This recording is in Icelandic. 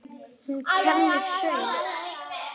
Hún kennir söng.